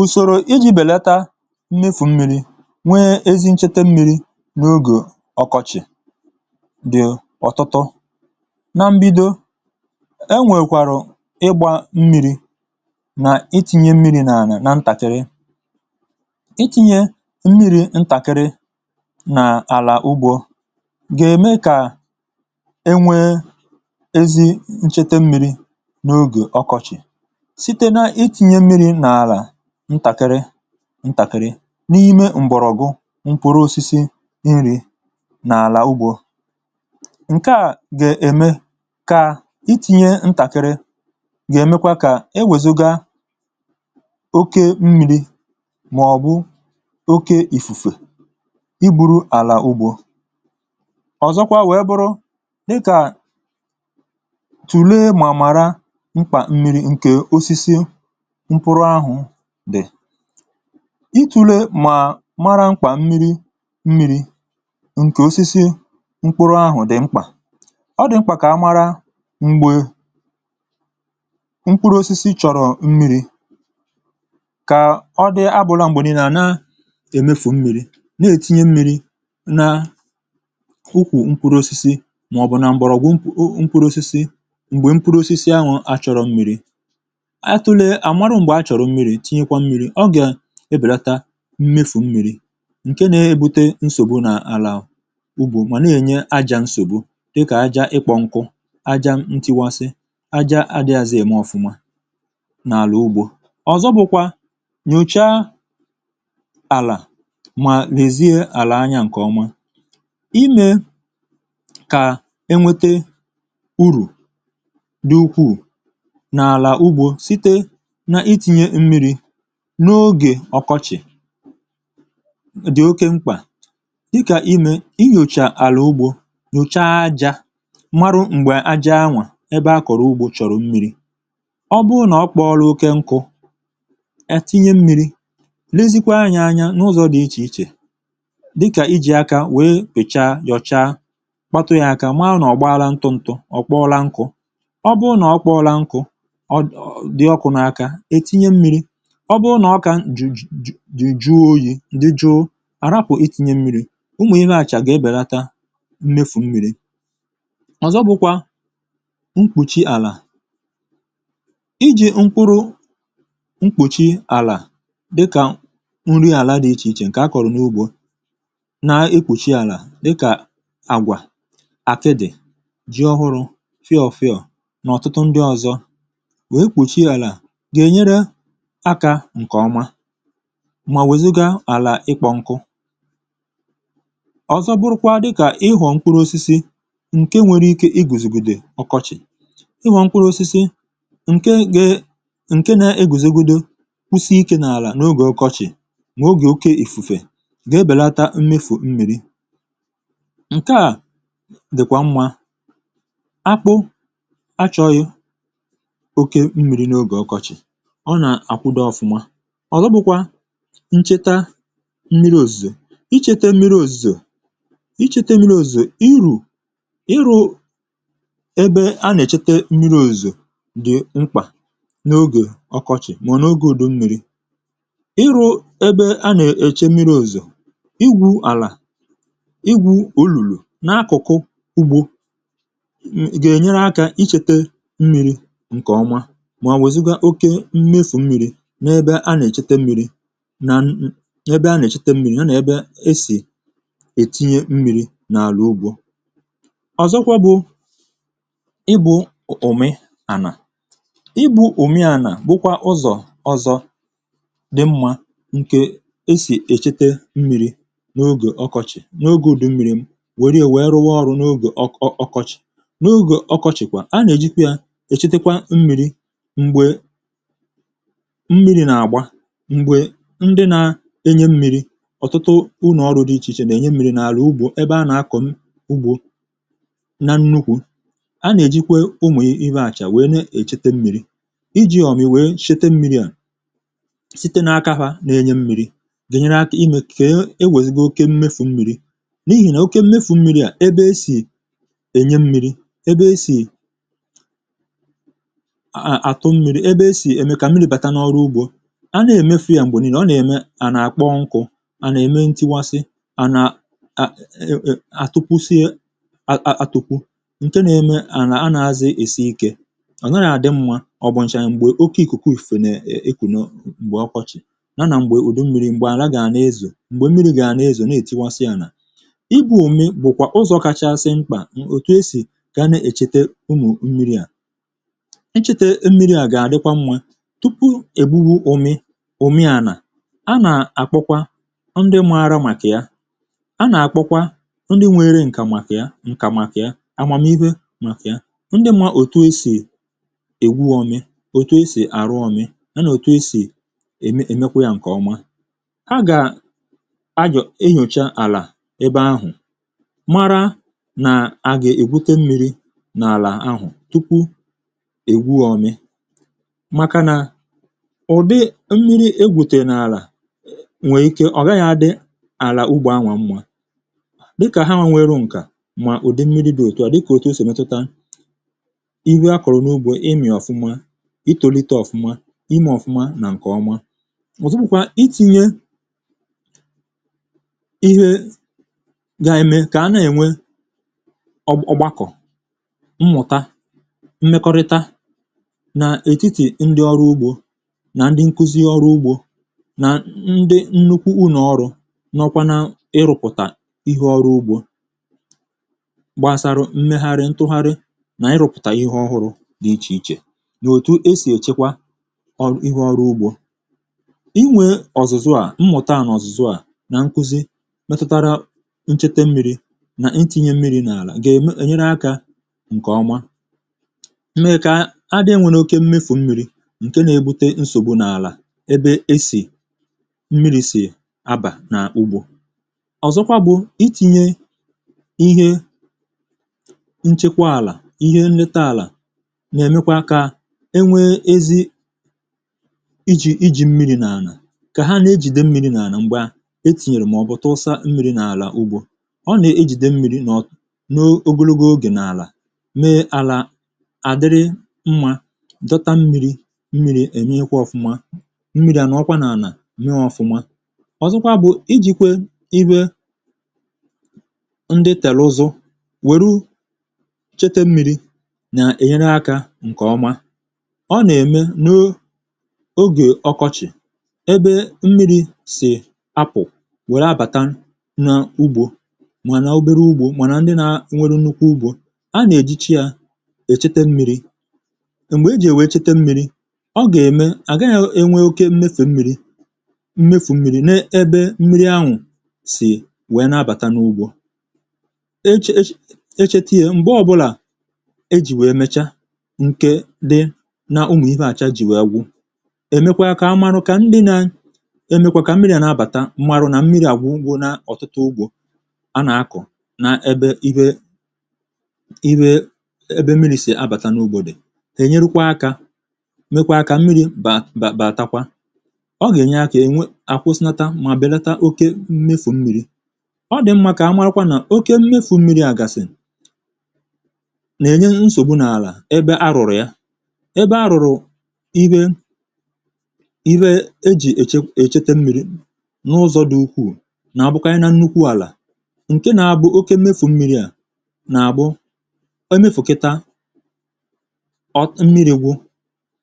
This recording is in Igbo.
Ụsọ̀rò iji belata mmefù mmirī ma nwee ezi ncheta mmirī n’ogè ọkọchị̀ N’ogè ọkọchị̀, um mgbe mmirī na-adịghị ànyịrị, ọ dị mkpa ịmalite ngwa ngwa ịgba mmirī ma tinye mmirī n’ụzọ dị nwayọ n’ala ọrụ ugbo. Ị na-eji mmirī n’otu ụzọ dị nwayọ ma na obere ọnụọgụ ga-eme ka e nwee ezi ncheta mmirī n’ogè ọkọchị̀. Mgbe ị na-agba mmirī n’osisi, uh ọ dị mma iji obere mmirī. Nke a ga-enyere osisi nrī nrī ma gbochie mmefù mmirī ma ọ bụ̀ ikpochapụ ala. um Ndị ọrụ ugbo kwesịrị ilebara mkpa mmirī nke osisi ọ bụla anya iji mara oge kwesịrị ekwesị ịgbà ha mmirī. Nke a na-enyere igbochi mmefù nke mmirī na-adịghị mkpa n’oge ahụ. Oke mmirī, uh na-akpata nsogbu n’ala dị ka ịkụpụ̀, ịka nkụ, erozọn, ma ọ bụ̀ iwepụ nrī dị n’ala. Ihe ndị a niile na-eme ka ala ghara ịdị ọma ma belata mkpụrụ osisi. Ọ dịkwa mkpa ka um a na-eleba anya ma nwalee ala ka onye ọrụ ugbo nwee ezi nsonaazụ n’ịgba mmirī n’ogè ọkọchị̀. Ịhụ́ ụdị ala na mmirī dị n’ime ya ga-eme ka mmadụ mara mgbe kwesịrị ịgba mmirī. Ọ bụrụ na ala kpọrọ nkụ ma sie ísì uzuzu, uh ọ pụtara na a ga-agbà ya mmirī. Ma ọ bụrụ na ọ ka dị mmirī ma dị jụụ n’aka, e nwere ike igbochi ịgba mmirī ruo oge ọzọ. Ụzọ ọzọ iji belata mmefù mmirī bụ ịkpọchie ala site n’iji ihe mkpuchi ala dịka ahịhịa ma ọ bụ̀ ihe fọdụrụ n’osisi — dịka um akwụkwọ nrì agwa, akpụ̀ yam, ma ọ bụ̀ ihe fọdụrụ n’osisi ndị ọzọ. Ihe mkpuchi a na-enyere ala ichekwa mmirī ma gbochie ya ịkọrọ nkụ ngwa ngwa n’okpuru ànyà anyanwụ. Ịhọrọ̀ mkpụrụ osisi ndị na-eguzogide ọkọchị̀ na-enyekwa aka. uh Osisi ndị dị otu a na-anọgide na-adị ndụ n’ogè ọkọchị̀, nke na-eme ka e belata ugboro e ji agbà mmirī ma belata mmefù mmirī nke ifufè ma ọ bụ̀ okpomọkụ kpatara. Ịchekwa mmirī na ịkụ̀kọ̀ mmirī bụkwa ihe dị mkpa. Ịkụ̀ olùlù ma ọ bụ̀ ọdụ mmirī n’ala ọrụ ugbo na-enyere ịnakọta ma chekwaa mmirì ozuzo maka oge ọzọ. um Nke a na-egbochi iji mgbapụta mmirī mgbe niile. Mmirī echekwara ahụ nwere ike iji nke ọma mgbe ọkọchị̀ karịrị akarị, ka ọ ghara ịghọ oke ụkọ mmirī. Ụzọ ọzọ bụ ịkpọpụ̀ mmirī ma ọ bụ̀ ịduzi ya site n’ebe mmirī jupụtara gaa n’ala ọrụ ugbo ebe a chọrọ ya. Nke a na-enye ndị ọrụ ugbo nta na ndị ọrụ ugbo ukwu ohere iji mmirī dị ha nso n’ụzọ ọma. uh Ụfọdụ oge, a na-eji ọkpọkọ̀ ma ọ bụ̀ olùlù duzie ụzọ mmirī. Mgbe ị na-agba mmirī, a gaghị ekwe ka mmirī gbaa oke, n’ihi na oke mmirī na-akpata erozọn ma na-emebi nhazi ala. A ga-ewu ụzọ mmirī ga-esi banye ma pụọ̀ iji jide n’aka na mmirī nọ n’ala na-apụ n’ụzọ kwesịrị ekwesị. Ọ dịkwa mkpa um ịkụziri ndị ọrụ ugbo na ndị ọrụ ọrụ ugbo ka ha mụta ụzọ ọhụụ na nke ọma esi echekwa mmirī na ịgba mmirī. Ịhazị̀ ọzụzụ, ngosipụta na ịkekọrịta ahụmịhe ga-enyere belata mmefù mmirī ma kwado echiche ọhụrụ ga-eme ka arụmọrụ bawanye. Na mgbakwunye, ịchekwa ala site n’ịkụ mkpụrụ osisi mkpuchi ala, uh iwunye ihe mgbochi, na iji ihe nchekwa ala ndị ọzọ na-enyere ala ichekwa mmirī ma nọgide bụrụ ala ọma. Ụzọ ndị a na-eme ka ala jide mmirī ogologo oge mgbe e mesịrị ozuzo ma ọ bụ̀ ịgba mmirī, nke na-enye mmirī n’osisi ọbụna mgbe ozuzo kwụsịrị. N’ikpeazụ̀, iwuli ụzọ mmirī ga-esi pụta nke ọma ma lekọta ụzọ mmirī si banye na si pụta n’ala ọrụ ugbo na-enyere belata mmefù mmirī ma gbochie erozọn. um Ihe ndị a niile na-enyere aka ime ka ala dị mmirī, kwado uto osisi ma chekwaa gburugburu ebe obibi.